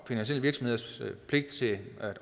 finansielle virksomheders pligt til at